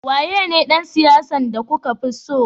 Waya ne dan siyasa de ka fi tso?